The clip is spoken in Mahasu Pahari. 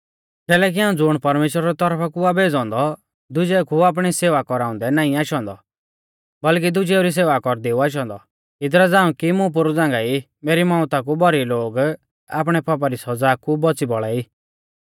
कैलैकि हाऊं ज़ुण परमेश्‍वरा री तौरफा कु आ भेज़ौ औन्दौ दुजेऊ कु आपणी सेवा कौराउंदै नाईं आशौ औन्दौ बल्कि दुजेऊ री सेवा कौरदै ऊ आशौ औन्दौ इदरा झ़ांऊ कि मुं पोरु झ़ांगाई मेरी मौउता कु भौरी लोग आपणै पापा री सौज़ा कु बौच़ी बौल़ा ई